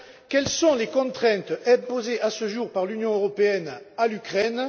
Quelles sont les contraintes imposées à ce jour par l'Union européenne à l'Ukraine?